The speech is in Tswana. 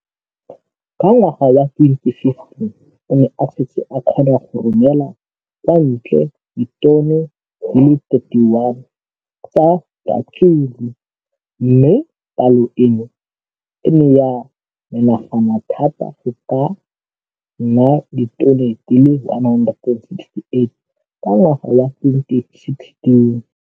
Ka ngwaga wa 2015, o ne a setse a kgona go romela kwa ntle ditone di le 31 tsa ratsuru mme palo eno e ne ya menagana thata go ka nna ditone di le 168 ka ngwaga wa 2016.